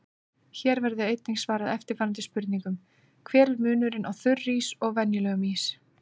Hér verður einnig svarað eftirfarandi spurningum: Hver er munurinn á þurrís og venjulegum ís?